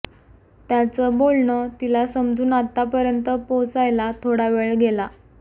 त्यांचं बोलणं तिला समजून आतपर्यंत पोचायला थोडा वेळ गेला